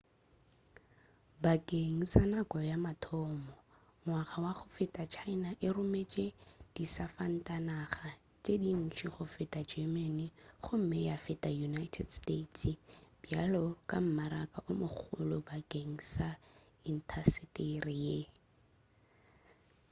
bakeng sa nako ya mathomo ngwaga wa go feta china e rometše disafatanaga tše dintši go feta germany gomme ya feta united states bjalo ka mmaraka o mogolo bakeng sa intasetere ye